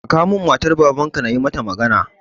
Ka kawo min matar Baban na ka, in yi mata magana!